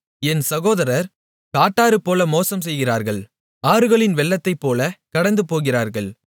என் சகோதரர் காட்டாறுபோல மோசம்செய்கிறார்கள் ஆறுகளின் வெள்ளத்தைப்போலக் கடந்துபோகிறார்கள்